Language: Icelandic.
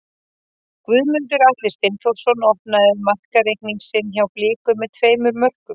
Guðmundur Atli Steinþórsson opnaði markareikning sinn hjá Blikum með tveimur mörkum.